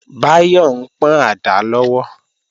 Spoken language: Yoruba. Báyọ̀ ń pọ́n àdá lọ́wọ́